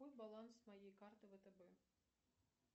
какой баланс моей карты втб